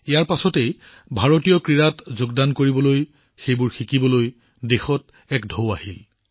সেই সময়তে ভাৰতীয় ক্ৰীড়াত যোগদান কৰিবলৈ সেইবোৰ উপভোগ কৰিবলৈ সেইবোৰ শিকিবলৈ দেশত এটা ঢৌৰ সৃষ্টি হৈছিল